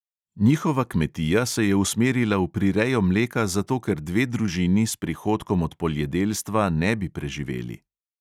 Njihova kmetija se je usmerila v prirejo mleka zato, ker dve družini s prihodkom od poljedelstva ne bi preživeli.